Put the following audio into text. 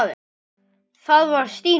Það var Stína.